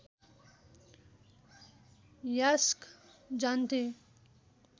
यास्क जान्थे